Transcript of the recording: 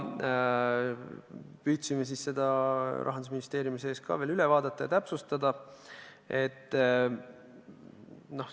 Püüdsime seda ka Rahandusministeeriumis veel üle vaadata ja täpsustada.